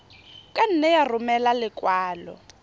ka nne ya romela lekwalo